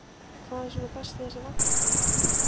Magnús: Hvað er svona best við þessa vagna?